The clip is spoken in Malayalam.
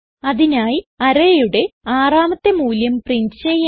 അതിനായി arrayയുടെ ആറാമത്തെ മൂല്യം പ്രിന്റ് ചെയ്യാം